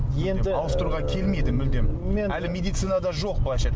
енді ауыстыруға келмейді мүлдем әлі медицинада жоқ былайша